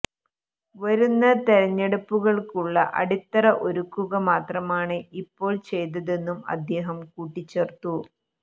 വരുന്ന തെരഞ്ഞെടുപ്പുകള്ക്കുള്ള അടിത്തറ ഒരുക്കുക മാത്രമാണ് ഇപ്പോൾ ചെയ്തതെന്നും അദ്ദേഹം കൂട്ടിച്ചേർത്തു